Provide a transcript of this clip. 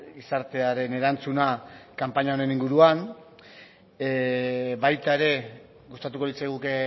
gizartearen erantzuna kanpaina honen inguruan baita ere gustatuko litzaiguke